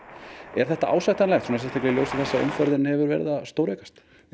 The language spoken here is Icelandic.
er þetta ásættanlegt sérstaklega í ljósi þess að umferðin hefur verið að stóraukast